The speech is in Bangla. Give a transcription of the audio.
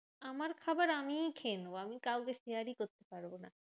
আমার খাবার আমিই খেয়ে নেবো। আমি কাউকে share ই করতে পারবো না।